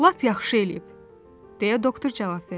"Lap yaxşı eləyib," deyə doktor cavab verdi.